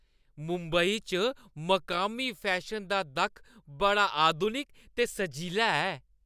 मुंबई च मकामी फैशन दा दक्ख बड़ा आधुनिक ते सजीला ऐ।